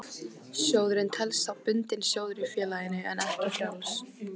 Sjóðurinn telst þá bundinn sjóður í félaginu en ekki frjáls.